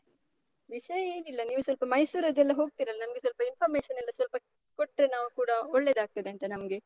ವಿಷಯ ಏನಿಲ್ಲ. ನೀವು ಸ್ವಲ್ಪ ಮೈಸೂರದ್ದೆಲ್ಲ ಹೋಗ್ತೀರಲ್ಲ? ನಮ್ಗೆ ಸ್ವಲ್ಪ information ಎಲ್ಲ ಸ್ವಲ್ಪ ಕೊಟ್ರೆ ನಾವೂ ಕೂಡ ಒಳ್ಳೇದಾಗ್ತದಂತ ನಮ್ಗೆ.